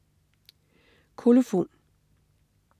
Kolofon